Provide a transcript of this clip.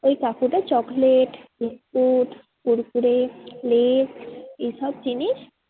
ওই কাকুটা chocolate biscuit Kurkure Lay's এইসব জিনিস